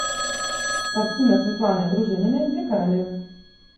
картина светланы дружининой две королевы